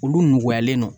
Olu nɔgɔyalen don